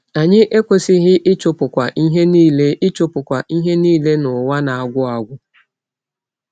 Anyị ekwesịghị ịchụpụkwa ihe niile ịchụpụkwa ihe niile n’ụwa na-agwụ agwụ.